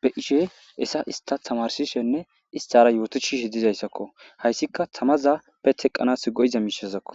be ishe esa ista tamarsishenne istara yootochi shidizayssakko hayssika tamazappe teqqanas go7iza miishazakko